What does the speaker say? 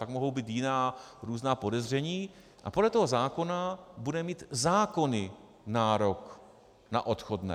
Pak mohou být jiná různá podezření, a podle toho zákona bude mít zákonný nárok na odchodné.